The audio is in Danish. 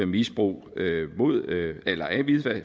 misbrug